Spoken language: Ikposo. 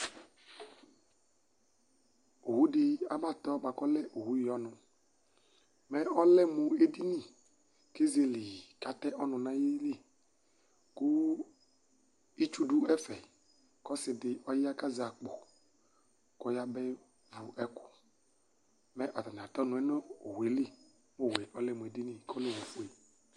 Owʋdi abatɔ bʋakʋ ɔlɛ owʋyi ɔnʋ, mɛ ɔlɛ mʋ edini kʋ ezele yi kʋ atɛ ɔnʋ nʋ ayili Kʋ itsu dʋ ɛfɛ, kʋ ɔsidi ɔya kʋ azɛ akpo, ɔyabevʋ ɛkʋ, mɛ atani atɛ ɔnʋ yɛ nʋ owueli kʋ owʋe ɔlɛmʋ edini kʋ ɔlɛ owʋfue